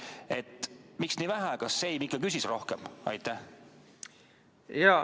Et miks nii vähe, kas Siem ikka küsis rohkem?